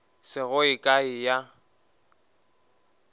se go ye kae ya